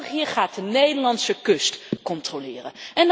België gaat de Nederlandse kust controleren.